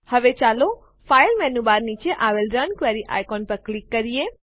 હવે ચાલો file menu bar નીચે આવેલ રન ક્વેરી આઇકોન ઉપર ક્લિક કરીએ